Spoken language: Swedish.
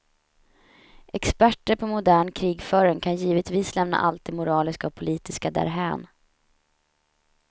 Experter på modern krigföring kan givetvis lämna allt det moraliska och politiska därhän.